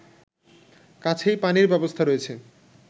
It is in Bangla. কাছেই পানির ব্যবস্থা রয়েছে